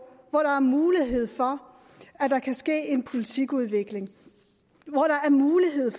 hvor der er mulighed for at der kan ske politikudvikling